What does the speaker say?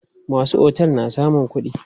Masu otel na samun kuɗi.